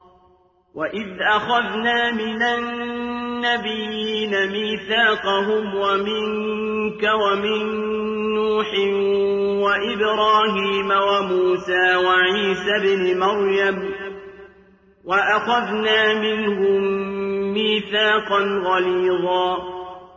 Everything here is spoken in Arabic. وَإِذْ أَخَذْنَا مِنَ النَّبِيِّينَ مِيثَاقَهُمْ وَمِنكَ وَمِن نُّوحٍ وَإِبْرَاهِيمَ وَمُوسَىٰ وَعِيسَى ابْنِ مَرْيَمَ ۖ وَأَخَذْنَا مِنْهُم مِّيثَاقًا غَلِيظًا